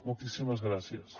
moltíssimes gràcies